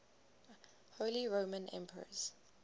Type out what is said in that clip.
holy roman emperors